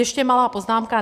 Ještě malá poznámka.